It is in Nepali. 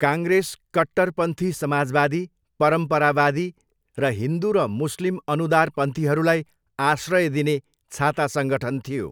काङ्ग्रेस कट्टरपन्थी समाजवादी, परम्परावादी र हिन्दु र मुस्लिम अनुदारपन्थीहरूलाई आश्रय दिने छाता सङ्गठन थियो।